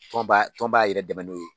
Tɔn b'a tɔn b'a yɛrɛ dɛmɛ n'o ye.